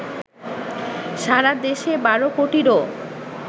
সারা দেশে ২ কোটিরও